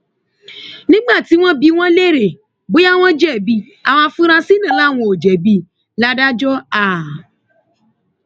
nígbà tí wọn bi wọn léèrè bóyá wọn jẹbi àwọn afurasí náà làwọn ò jẹbi ladájọ a